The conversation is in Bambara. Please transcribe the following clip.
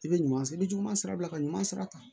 I bɛ ɲuman i bɛ juguman sira bila ka ɲuman sira ta